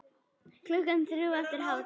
Klukkan þrjú eftir hádegi snjóar.